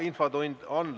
Infotund on lõppenud.